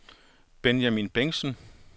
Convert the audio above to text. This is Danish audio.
Benjamin Bengtsen